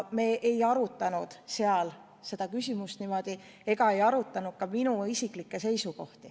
Me ei arutanud seal seda küsimust ega arutanud ka minu isiklikke seisukohti.